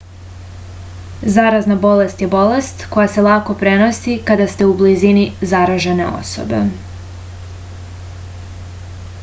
zarazna bolest je bolest koja se lako prenosi kada ste u blizini zaražene osobe